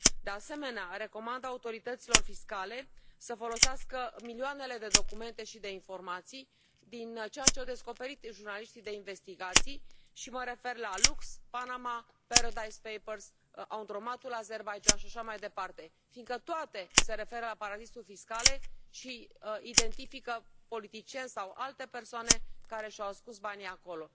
De asemenea, recomand autorităților fiscale să folosească milioanele de documente și de informații din ceea ce au descoperit jurnaliștii de investigații și mă refer la Lux, Panama, Paradise Papers, Laundromat ul Azerbaidjan și așa mai departe fiindcă toate se referă la paradisuri fiscale și identifică politicieni sau alte persoane care și au ascuns banii acolo.